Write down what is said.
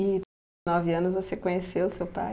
E em nove anos você conheceu seu pai?